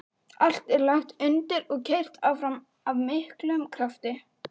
Allt er lagt undir og keyrt áfram af miklum krafti.